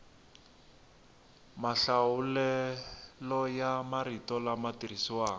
mahlawulelo ya marito lama tirhisiwaka